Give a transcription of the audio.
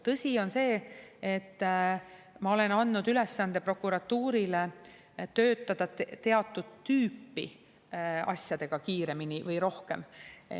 Tõsi on see, et ma olen andnud ülesande prokuratuurile töötada teatud tüüpi asjadega kiiremini või rohkem.